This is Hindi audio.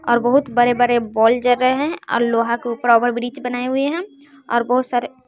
और बहुत बड़े बड़े बोल जर रहे हैं और लोहा के ऊपर ओभर ब्रिज बनाए हुए हैं और बहुत सारे--